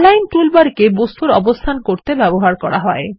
align toolbar কে বস্তুর অবস্থান করতে ব্যবহার করা হয়